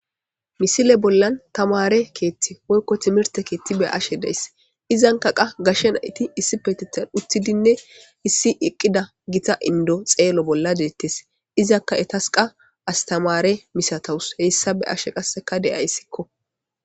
Misile bollan tamare keeththti woykko timirte keeththi be'ashe dayss izankaqa gashshe nayti issipetethan utidinne issi eqqida gita indo xeelo bolla deettees izakka etasqa astamare misatowus heyssa be'ashe qasseka de'ayssikko